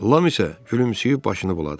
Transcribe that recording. Lam isə gülümsüyüb başını buladı.